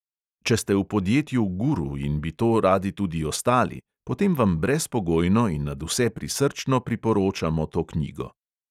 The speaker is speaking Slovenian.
Če ste v podjetju guru in bi to radi tudi ostali, potem vam brezpogojno in nadvse prisrčno priporočamo to knjigo.